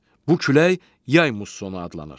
Bu külək yay mussonu adlanır.